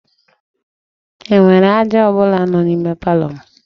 E nwere aja ọ bụla nọ n'ime palọ m?